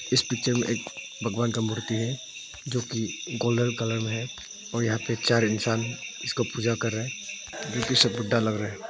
इस पिक्चर में एक भगवान का मूर्ति है जो की गोल्डन कलर में है और यहां पे चार इंसान इसको पूजा कर रहे है जो कि सब बुड्ढा लग रहा है।